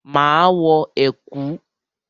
Máa wọ ẹ̀kú.